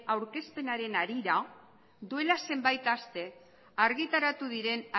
aurkezpenaren harira duela zenbait aste argitaratu diren